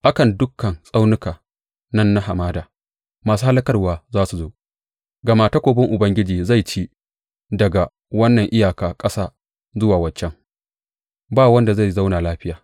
A kan dukan tsaunukan nan na hamada masu hallakarwa za su zo, gama takobin Ubangiji zai ci daga wannan iyaka ƙasa zuwa wancan; ba wanda zai zauna lafiya.